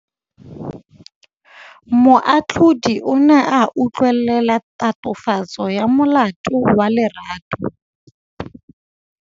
Moatlhodi o ne a utlwelela tatofatsô ya molato wa Lerato.